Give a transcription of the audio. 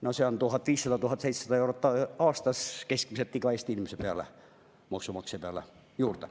No see on 1500–1700 eurot aastas keskmiselt Eesti inimese peale, maksumaksja peale.